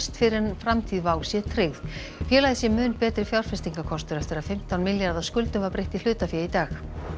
fyrr en framtíð WOW sé tryggð félagið sé mun betri fjárfestingarkostur eftir að fimmtán milljarða skuldum var breytt í hlutafé í dag